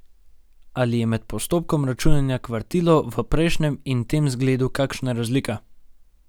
Ali je med postopkom računanja kvartilov v prejšnjem in tem zgledu kakšna razlika?